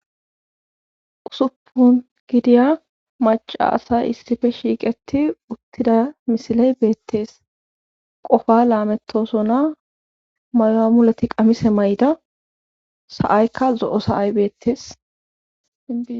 Usuppun gidiya maca asay issife shiiqeti uttida misiley beettees qofa laamettosona mayamuleti qamise mayda sa7aykka zo7o saay beettees